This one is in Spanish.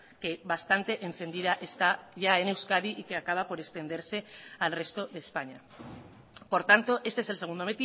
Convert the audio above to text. que bastante encendida está ya en euskadi y que acaba por extenderse al resto de españa por tanto este es el segundo